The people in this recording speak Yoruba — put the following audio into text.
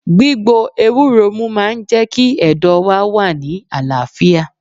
Gbígbo ewúro mú máa ń jẹ́ kí ẹ̀dọ̀ wá wà ní àlàáfíà